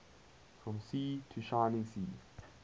from sea to shining sea